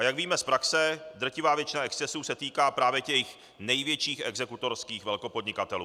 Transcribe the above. A jak víme z praxe, drtivá většina excesů se týká právě těch největších exekutorských velkopodnikatelů.